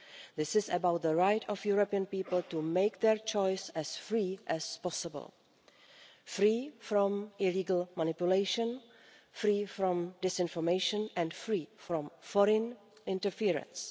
This is about the right of European people to make their choice as freely as possible, free from illegal manipulation, free from disinformation and free from foreign interference.